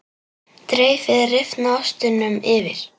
Dreifið rifna ostinum yfir.